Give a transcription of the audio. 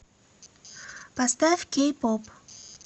поставь кей поп